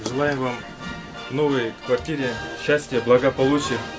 желаем вам в новой квартире счастья благополучия